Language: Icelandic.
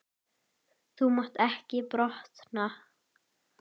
Þú mátt ekki brotna.